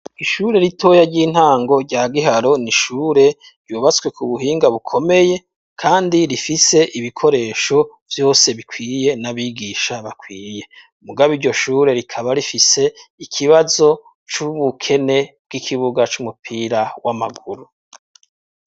Ishure ritoya ry'intango rya giharo, ni Ishure ryubaswe ku buhinga bukomeye, kandi rifise ibikoresho vyose bikwiye, n'abigisha bakwiye mugabo iryoshure rikaba rifise ikibazo c'ubukene bw'ikibuga c'umupira w'amaguru.